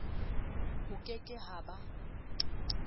ho ke ke ha ba